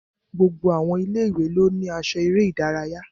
Gbogbo àwọn ilé-ìwé ló ní aṣọ eré ìdárayá